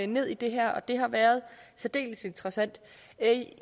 ned i det her og det har været særdeles interessant